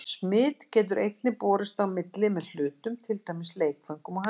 Smit getur einnig borist á milli með hlutum, til dæmis leikföngum og handklæðum.